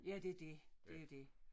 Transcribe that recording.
Ja det dét det dét